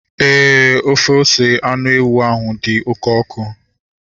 Éè, ofe ose anụ ewu ahu dị oké ọkụ